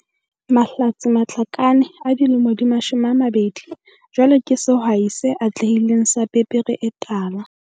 Mahlatse Matlakane, 20, jwale ke sehwai se atlehileng sa pepere e tala.